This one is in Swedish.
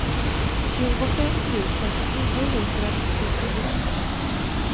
tjugofem tusen niohundranittiofyra